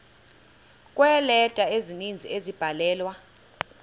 kweeleta ezininzi ezabhalelwa